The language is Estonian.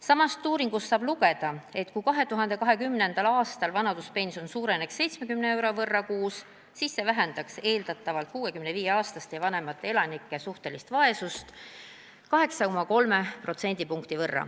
Samast uuringust saab lugeda, et kui 2020. aastal suureneks vanaduspension 70 euro võrra kuus, siis see vähendaks eeldatavalt 65-aastaste ja vanemate elanike suhtelist vaesust 8,3 protsendipunkti.